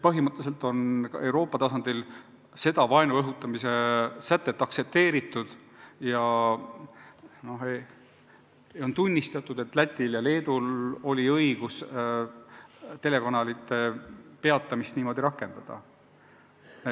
Põhimõtteliselt on Euroopa tasandil seda vaenu õhutamise sätet aktsepteeritud ja on tunnistatud, et Lätil ja Leedul oli õigus niimoodi rakendada telekanalite saadete edastamise peatamist.